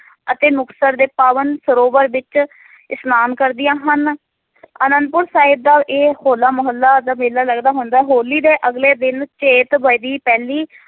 ਅਤੇ ਮੁਕਤਸਰ ਦੇ ਪਾਵਨ ਸਰੋਵਰ ਵਿਚ ਇਸਨਾਨ ਕਰਦੀਆਂ ਹਨ ਅਨੰਦਪੁਰ ਸਾਹਿਬ ਦਾ ਇਹ ਹੋਲਾ ਮੋਹੱਲਾ ਦਾ ਮੇਲਾ ਲੱਗਦਾ ਹੁੰਦਾ ਹੈ ਹੋਲੀ ਦੇ ਅਗਲੇ ਦਿਨ ਪਹਿਲੀ